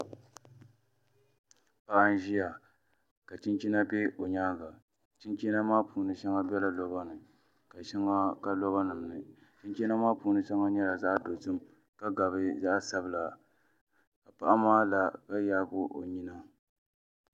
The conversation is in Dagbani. Paɣa n ʒiya ka chinchina bɛ o nyaanga chinchina maa puuni shɛŋa biɛla roba nim ni ka shɛŋa ka loba nim ni chinchina maa puuni shɛŋa nyɛla zaɣ dozim ka gabi zaɣ sabila ka paɣa maa la ka yaagi o nyina